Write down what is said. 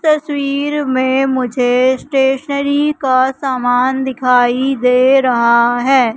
इस तस्वीर में मुझे स्टेशनरी का सामान दिखाई दे रहा है।